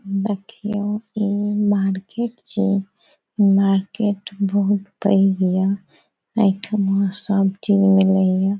देखियो इ मार्केट छै मार्केट बहुत पैग ये एठामा सब चीज़ मिलय ये ।